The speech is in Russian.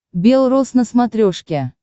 бел роз на смотрешке